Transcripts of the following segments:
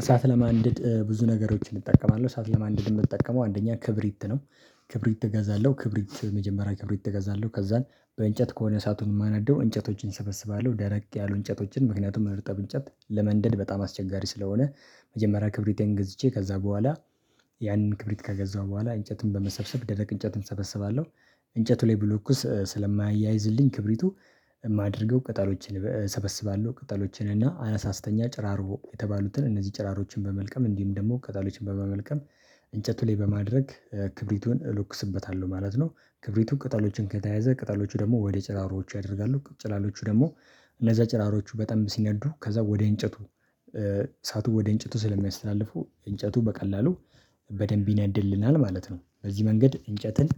እሳት ለማንደድ ብዙ ነገሮችን እጠቀማለሁ እሳት ለማንደድ የምጠቀመው አንደኛ ክብሪት ነው። ክብሪት እገዛለሁ ክብሪት መጀመሪያ ክብሪት እገዛለሁ ከዛን በእንጨት ከሆነ እሳቱን የማነደው እንጨቶችን እሰበስባለሁ ደረቅ ያሉ እንጨቶችን ምክንያቱም እርጥብ እንጨት ለመንደድ በጣም አስቸጋሪ ስለሆነ። መጀመሪያ ክብሪቴን ገዝቼ ከዛ በኋላ ያንን ክብሪት ከገዛሁ በኋላ እንጨትን በመሰብሰብ ደረቅ እንጨት እሰበስባለሁ። እንጨቱ ላይ ብለኩስ ስለማያያይዝልኝ ክብሪቱ የማደርገው ቅጠሎችን እሰበስባለሁ ቅጠሎችን እና አነሳስተኛ ጭራርሮ የተባሉትን እነዚህ ጭራሮችን በመልቀም እንዲሁም ደግሞ ቅጠሎችን በመመልቀም እንጨቱ ላይ በማድረግ ክብሪቱን እሎክስበታለሁ ማለት ነው። ክብሪቱን ቅጠሎችን ከተያዘ ቅጠሎቹ ደግሞ ወደ ጭራሮዎቹ ያደርጋሉ ጭላሎቹ ደግሞ እነዛ ጭራሮቹ በጣም ሲነዱ ከዛ ወደ እንጨቱ እሳቱ ወደ እንጨቱ ስለሚያስተላልፉ እንጨቱ በቀላሉ በደንብ ይነድልናል ማለት ነው። በዚህ መንገድ እንጨትን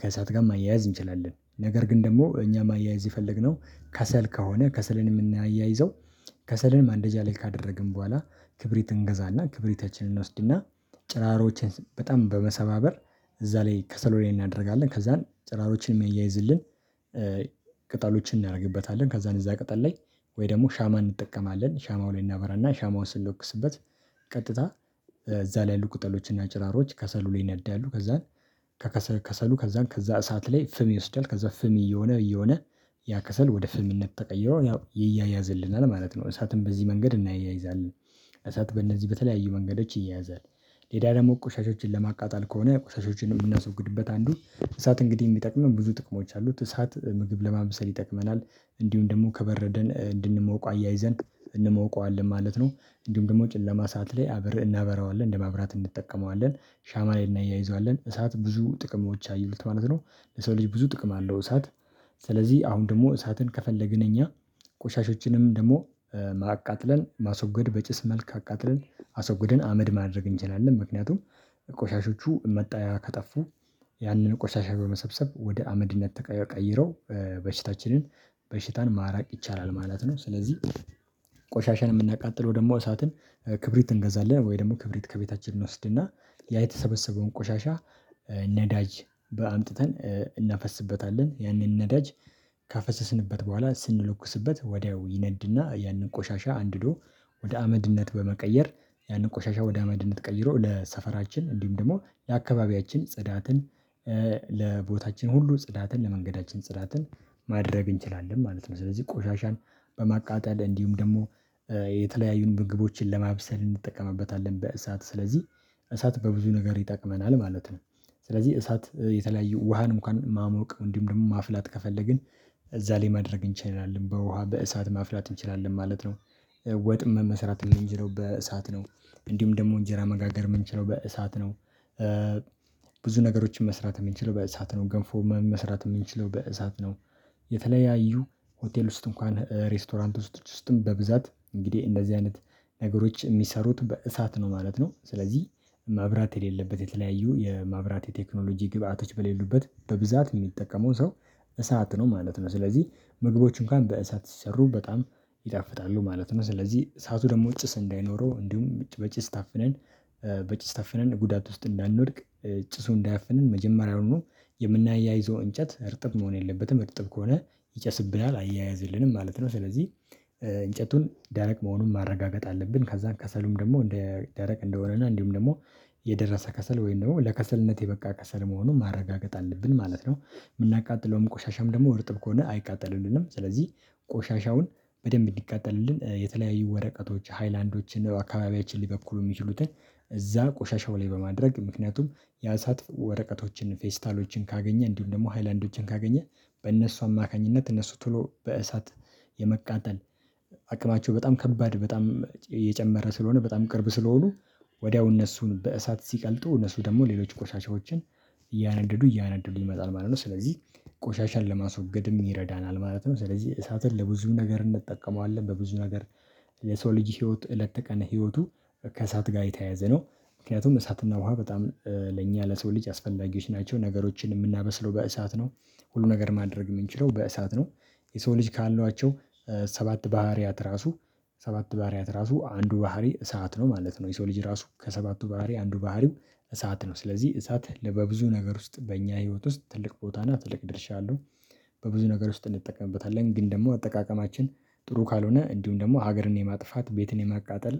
ከእሳት ጋር ማያያዝ እንችላለን። ነገር ግን ደግሞ እኛ ማያይዝ የፈለግነው ከሰል ከሆነ ከሰልን የምናያይዘው ከሰልን ማንደጃ ላይ ካደረግን በኋላ ክብሪትን እንገዛና ክብሪታችንን እንወስድና ጭራሮችን በጣም በመሰባበር እዛ ላይ ከሰሎኔል እናደርጋለን ከዛን ጭራሮችን ሚያይዝልን። ቅጠሎችን እናደርግበታለን ከዛን እዛ ቅጠል ላይ ወይ ደግሞ ሻማ እንጠቀማለን ሻማውን እናበራና ሻማውን ስንለኩስበት ቀጥታ እዛ ላይ ያሉ ቁጠሎችና ጭራሮች ከሰሉ ላይ ይነዳሉ ከዛን። ከከሰሉ ከዛን ከዛ እሳት ላይ ፍም ይወስዳል ከዛ ፍም እየሆነ እየሆነ ያ ከሰል ወደ ፍምነት ተቀይሮ ያው ይያያዝልናል ማለት ነው። እሳትን በዚህ መንገድ እናያይዛለን እሳት በእነዚህ በተለያዩ መንገዶች ይያያዛል። ሌላ ደግሞ ቁሻሾችን ለማቃጣል ከሆነ ቁሻሾችን የምናስወግድበት አንዱ እንሳት እንግዲህ የሚጠቅመን ብዙ ጥቅሞች አሉት እሳት ምግብ ለማብሰል ይጠቅመናል። እንዲሁም ደግሞ ከበረደን እንድንሞቀው አያይዘን እንሞቀዋለን ማለት ነው። እንዲሁም ደግሞ ጨለማ ሰዓት ላይ አብረን እናበራዋለን እንደመብራት እንጠቀመዋለን። ሻማ ላይ እናያይዘዋለን እሳት ብዙ ጥቅሞች አየሉት ማለት ነው ለሰው ልጅ ብዙ ጥቅም አለው እሳት። ስለዚህ አሁን ደግሞ እሳትን ከፈለግን እኛ ቆሻሾችንም ደግሞ ማቃጥለን ማስወገድ በጭስ መልክ አቃጥለን አስወግደን አመድ ማድረግ እንችላለን ምክንያቱም ቆሻሾቹ መጣያ ከጠፉ ያንን ቆሻሻ በመሰብሰብ ወደ አመድነት ተቀይረው በሽታችንን በሽታን ማራቅ ይቻላል ማለት ነው። ስለዚህ ቆሻሻን የምናቃጥለው ደግሞ እሳትን ክብሪት እንገዛለን ወይ ደግሞ ክብሪት ከቤታችን እንወስድና ያ የተሰበሰበውን ቆሻሻ ነዳጅ በአምጥተን እናፈስበታለን ያንን ነዳጅ ካፈሰስንበት በኋላ ስንለኩስበት ወዲያው ይነድና ያንን ቆሻሻ አንድዶ ወደ አመድነት በመቀየር ያንን ቆሻሻ ወደ አመድነት ቀይሮ ለሰፈራችን እንዲሁም ደግሞ የአካባቢያችን ጽዳትን ለቦታችን ሁሉ ጽዳትን ለመንገዳችን ጽዳትን ማድረግ እንችላለን ማለት ነው። ስለዚህ ቆሻሻን በማቃጠል እንዲሁም ደግሞ የተለያዩን ምግቦችን ለማብሰል እንጠቀምበታለን በእሳት ስለዚህ እሳት በብዙ ነገር ይጠቅመናል ማለት ነው። ስለዚህ እሳት የተለያየ ውሃን እንኳን ማሞቅ እንዲሁም ደግሞ ማፍላት ከፈለግን እዛ ላይ ማድረግ እንችላለን በውሃ በእሳት ማፍላት እንችላለን ማለት ነው። ወጥም መሰራት የምንጀረው በእሳት ነው እንዲሁም ደግሞ እንጀራ መጋገር የምንችለው በእሳት ነው። ብዙ ነገሮችን መስራት የምንችለው በእሳት ነው ገንፎ መስራት የምንችለው በእሳት ነው። የተለያዩ ሆቴል ውስጥ እንኳን ሬስቶራንት ውስጥ ውስጥም በብዛት እንግዲህ እንደዚህ አይነት ነገሮች የሚሰሩት በእሳት ነው ማለት ነው። ስለዚህ ማብራት የሌለበት የተለያዩ የማብራት የቴክኖሎጂ ግብአቶች በሌሉበት በብዛት የሚጠቀመው ሰው እሳት ነው ማለት ነው። ስለዚህ ምግቦች እንኳን በእሳት ሲሰሩ በጣም ይጣፍጣሉ ማለት ነው። ስለዚህ እሳቱ ደግሞ ጭስ እንዳይኖረው እንዲሁም እጭ በጭስ ታፍነን በጭ ስታፍነን ጉዳት ውስጥ እንዳንወድቅ ጭሱ እንዳያፍነን መጀመሪያውኑ የምናያይዘው እንጨት እርጥብ መሆን የለበትም እርጥብ ከሆነ ይጨስብናል አይያያዝልንም ማለት ነው። ስለዚህ እንጨቱን ደረቅ መሆኑን ማረጋገጥ አለብን ከዛን ከሰሉም ደግሞ እንደ ደረቅ እንደሆነና እንዲሁም ደግሞ የደረሰ ከሰል ወይም ደግሞ ለከሰልነት የበቃ ከሰል መሆኑን ማረጋገጥ አለብን ማለት ነው። የምናቃጥለውም ቆሻሻም ደግሞ እርጥብ ከሆነ አይቃጠልልንም ስለዚህ ቆሻሻውን በደንብ እንዲቃጠልልን የተለያዩ ወረቀቶች ሃይላንዶችን አካባቢያችን ሊበኩሉ የሚችሉትን እዛ ቆሻሻው ላይ በማድረግ ምክንያቱም ያሳጥ ወረቀቶችን ፌስታሎችን ካገኘ እንዲሁም ደግሞ ሃይላንዶችን ካገኘ በእነሱ አማካኝነት እነሱ ቶሎ በእሳት የመቃጠል አቅማቸው በጣም ከባድ በጣም እየጨመረ ስለሆነ በጣም ቅርብ ስለሆኑ ወዲያው እነሱን በእሳት ሲቀልጡ እነሱ ደግሞ ሌሎች ቆሻሻዎችን እያነደዱ እያነደዱ ይመጣል ማለት ነው ስለዚህ ቆሻሻን ለማስወገድም ይረዳናል ማለት ነው። ስለዚህ እሳትን ለብዙ ነገር እንጠቀመዋለን በብዙ ነገር የሰው ልጅ ህይወት እለት ተቀና ህይወቱ ከእሳት ጋር የተያዘ ነው። ምክንያቱም እሳትና ውሃ በጣም ለኛ ለሰው ልጅ አስፈላጊዎች ናቸው። ነገሮችን የምናበስለው በእሳት ነው ሁሉ ነገር ማድረግ የምንችለው በእሳት ነው። የሰው ልጅ ካሏቸው ሰባት ባህሪያት ራሱ ሰባት ባህሪያት ራሱ አንዱ ባህሪ እሳት ነው ማለት ነው። የሰው ልጅ ራሱ ከሰባቱ ባህሪ አንዱ ባህሪው እሳት ነው። ስለዚህ እሳት ለበብዙ ነገር ውስጥ በእኛ ህይወት ውስጥ ትልቅ ቦታ እና ትልቅ ድርሻ አለው። በብዙ ነገር ውስጥ እንጠቀምበታለን ግን ደግሞ አጠቃቀማችን ጥሩ ካልሆነ እንዲሁም ደግሞ ሀገርን የማጥፋት ቤትን የማቃጠል